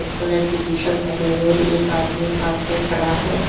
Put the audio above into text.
Colour की T shirt पहने हुए एक आदमी पास में खड़ा है।